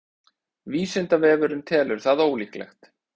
vísindavefurinn telur það ólíklegt